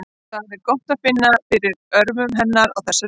Það er gott að finna fyrir örmum hennar á þessari stundu.